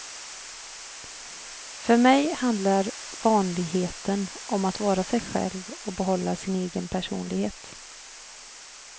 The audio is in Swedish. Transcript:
För mig handlar vanligheten om att vara sig själv och behålla sin egen personlighet.